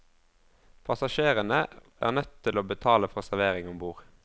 Passasjerene er nødt til å betale for serveringen om bord.